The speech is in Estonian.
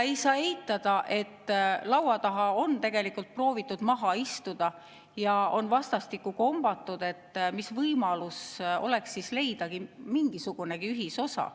Ei saa eitada, et on proovitud laua taha maha istuda ja on vastastikku kombatud, mis võimalus oleks leida mingisugunegi ühisosa.